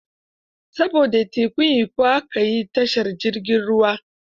Saboda tekun Ikko, aka yi tashar jirgin ruwa.